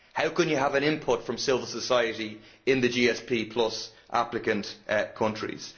How can you have an input from civil society in the GSP applicant countries?